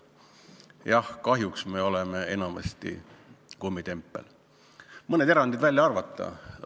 Jah, kahjuks me oleme enamasti kummitempel, kui mõned erandid välja arvata.